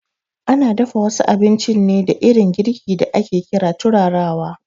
Ana dafa wasu abinci ne da irin girki da ake ƙira turarawa